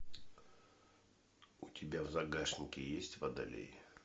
у тебя в загашнике есть водолей